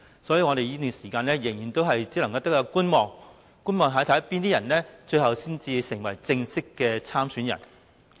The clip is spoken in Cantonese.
所以，我們在這段時間只能繼續觀望，看看最終有哪些人能夠成為正式參選人。